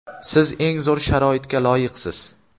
Siz eng zo‘r sharoitga loyiqsiz!.